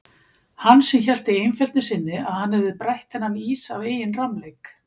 Hann sem hélt í einfeldni sinni að hann hefði brætt þennan ís af eigin rammleik.